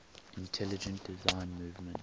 intelligent design movement